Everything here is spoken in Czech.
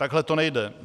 Takhle to nejde.